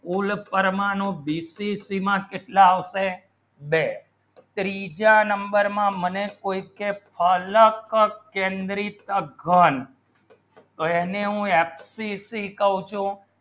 ફૂલ પરમાણુ બીસીસી માં કેટલા આવશે બે ત્રીજા number માં મને કોઈ છે ફલક કેન્દ્રિત ઘણ તેને હું સીસી કહું છો